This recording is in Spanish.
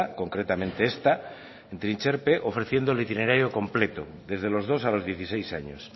concretamente esta en trintxerpe ofreciendo el itinerario completo desde los dos a los dieciséis años